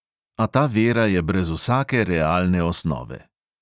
A ta vera je brez vsake realne osnove.